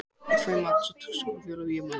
Klukkan var ekki nema hálftólf.